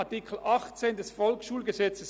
Artikel 18 Absatz 3